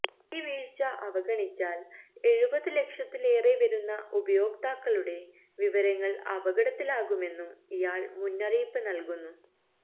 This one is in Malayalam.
ഈ വീഴ്ച അവഗണിച്ചാല് എഴുപത് ലക്ഷത്തിലേറെ വരുന്ന ഉപയോക്താക്കളുടെ വിവരങ്ങള് അപകടത്തിലാകുമെന്നും ഇയാള് മുന്നറിയിപ്പ് നല്കുന്നു